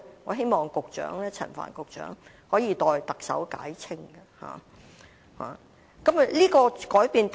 我希望陳帆局長可以代特首解釋清楚。